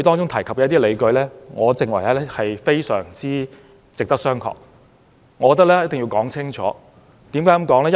他提出的一些理據，我認為非常值得商榷，我一定要說清楚。